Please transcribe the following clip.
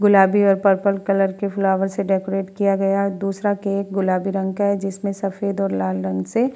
गुलाबी और purple colour के फ्लावर से डेकोरेट किया गया है दूसरा केक गुलाबी रंग का है जिसमे सफ़ेद और लाल रंग से --